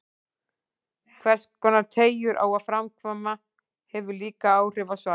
Hverskonar teygjur á að framkvæma, hefur líka áhrif á svarið.